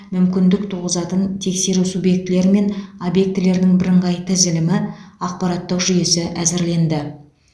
мүмкіндік туғызатын тексеру субъектілері мен объектілерінің бірыңғай тізілімі ақпараттық жүйесі әзірленді